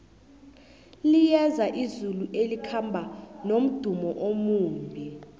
liyeza izulu elikhamba nomdumo omumbi